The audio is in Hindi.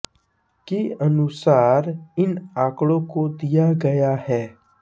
के अनुसार इन आंकड़ों को दिया गया है